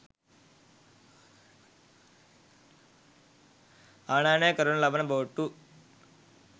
ආනයනය කරනු ලබන බෝට්ටු